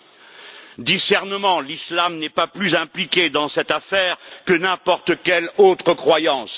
Quant au discernement, l'islam n'est pas plus impliqué dans cette affaire que n'importe quelle autre croyance.